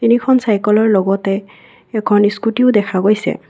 তিনিখন চাইকলৰ লগতে এখন স্কুটীও দেখা গৈছে।